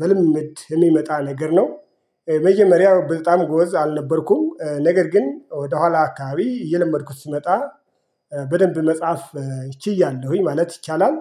በልምመድ እሚመጣ ነገር ነው። መጀመሪያው ብልጣም ጎበዝ አልነበርኩም ነገር ግን ወደኋላ አካባቢ እየለመድኩት ስመጣ በደንብ መጽሐፍ ችያለሁኝ ማለት ይቻላል።